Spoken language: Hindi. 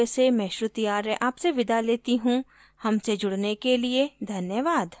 आई आई टी बॉम्बे से मैं श्रुति आर्य आपसे विदा लेती हूँ हमसे जुड़ने के लिए धन्यवाद